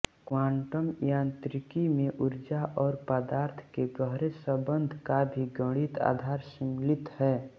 quantum यान्त्रिकी में उर्जा और पदार्थ के गहरे सम्बन्ध का भी गणित आधार सम्मिलित है